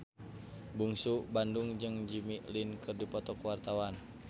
Bungsu Bandung jeung Jimmy Lin keur dipoto ku wartawan